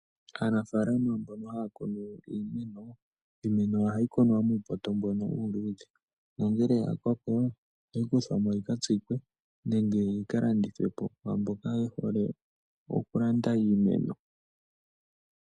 Aanafaalama mbono haa kunu iimeno, iimeno oha yi kunwa muupoto mbono uuluudhe, nongele ya koko iha yi kuthwa mo yika tsikwe, nenge yika landithwe po kwaamboka ye hole oku landa iimeno.